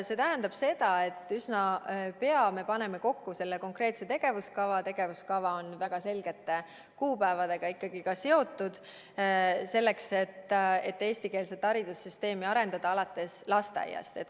See tähendab seda, et üsna ei pea me paneme kokku selle konkreetse tegevuskava, mis on ikkagi seotud väga selgete kuupäevadega, selleks et arendada eestikeelset haridussüsteemi alates lasteaiast.